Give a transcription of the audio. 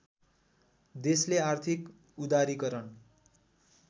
देशले आर्थिक उदारीकरण